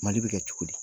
Mali bɛ kɛ cogo di